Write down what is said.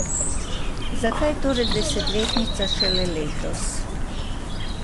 Zakaj torej desetletnica šele letos?